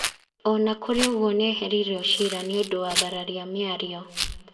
Ona kũrĩ ũguo nĩehereirio ciira nĩũndũ wa thararia mĩario.